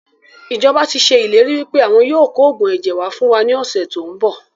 Ìjọba tíì ṣe ìlérí wípé àwọn yìí ó kò oògùn ẹ̀jẹ̀ wá fún wa ní ọ̀sẹ̀ tòun bọ̀